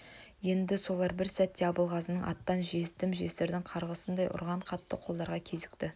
еді солар бір сәтте абылғазының аттан жетім-жесірдің қарғысындай ұрған қатты қолдарға кезікті